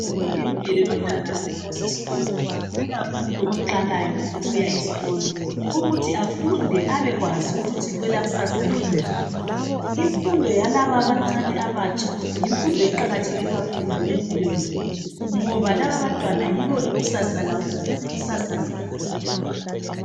Ilungelo lomntwana wonke osesikolo ikakhulu oqalayo ukuya esikolo ukuthi afunde abekwazi ukuthi kwelakusasa limi njani. Imfundo yalaba abancane abatsha yimfundo eqakatheke kakhulu empilweni zethu, ngoba laba abantwana yibo ikusasa lethu.